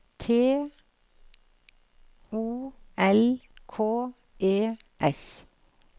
T O L K E S